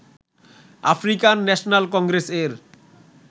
African National Congress এর